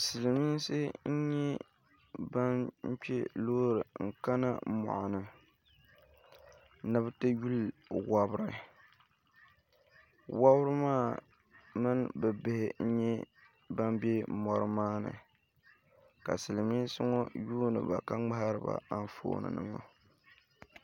Silmiinsi n nyɛ ban kpɛ loori n kana moɣini ni bi ti lihi wobiri wobirimaa mini bi bihi n nyɛ ban bɛ mori maa ni ka silmiinsi ŋɔ yuuniba ka ŋmahariba anfooni nima